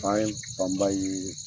An ye fanba ye